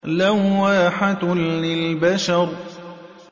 لَوَّاحَةٌ لِّلْبَشَرِ